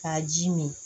K'a ji min